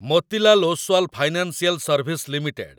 Motilal Oswal financial service limited